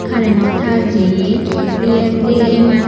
curreno tar jeye yandi ae mach.